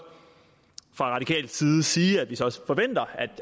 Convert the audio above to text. fra radikal side sige at vi så forventer